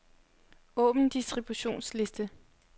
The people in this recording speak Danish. Åbn distributionsliste.